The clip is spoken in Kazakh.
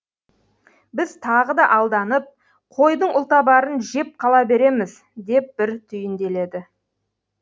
біз тағы да алданып қойдың ұлтабарын жеп қала береміз деп бір түйінделеді